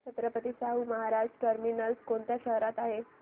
Chhatrapati Shahu Maharaj terminus कोणत्या शहरात आहे